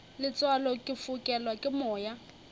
letswalo ke fokelwa ke moya